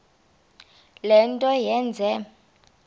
le nto yenze